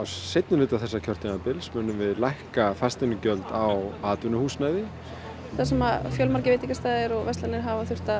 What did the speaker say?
seinnihluta þessa kjörtímabils munum við lækka fasteignagjöld á atvinnuhúsnæði þar sem fjölmargir veitingastaðir hafa þurft að